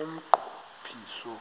umnqo phiso